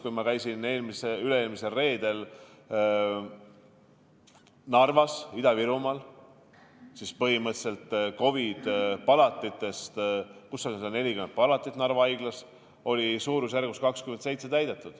Kui ma käisin üle-eelmisel reedel Ida-Virumaal, siis oli seal Narva haiglas põhimõtteliselt 140 palatist 27 COVID-i haigetega täidetud.